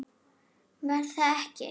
Var það ekki????